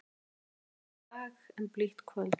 Margur á bágan dag en blítt kvöld.